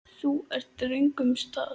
Þú ert á röngum stað